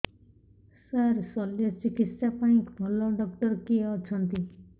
ସାର ଶଲ୍ୟଚିକିତ୍ସା ପାଇଁ ଭଲ ଡକ୍ଟର କିଏ ଅଛନ୍ତି